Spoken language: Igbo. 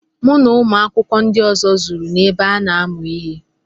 Mụ na ụmụ akwụkwọ ndị ọzọ zuru n'ebe ana amụ ihe.